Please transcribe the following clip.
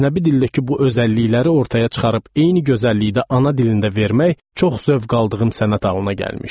Əcnəbi dildəki bu özəllikləri ortaya çıxarıb eyni gözəllikdə ana dilində vermək çox zövq aldığım sənət halına gəlmişdi.